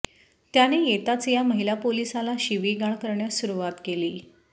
त्याने येताच या महिला पोलिसाला शिविगाळ करण्यास सुरवात केली